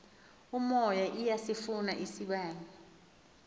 umoya iyasifuna isibane